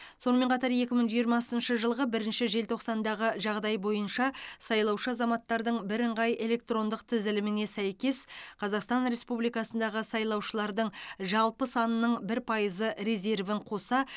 сонымен қатар екі мың жиырмасыншы жылғы бірінші желтоқсандағы жағдай бойынша сайлаушы азаматтардың бірыңғай электрондық тізіліміне сәйкес қазақстан республикасындағы сайлаушылардың жалпы санының бір пайызы резервін қоса